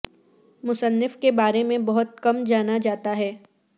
مصنف کے بارے میں بہت کم جانا جاتا ہے